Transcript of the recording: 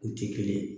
U tɛ kelen ye